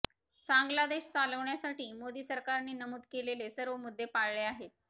चांगला देश चालविण्यासाठी मोदी सरकारने नमूद केलेले सर्व मुद्दे पाळले आहेत